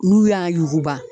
N'u y'a yuguba.